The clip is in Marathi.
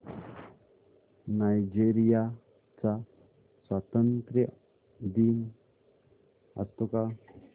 नायजेरिया चा स्वातंत्र्य दिन असतो का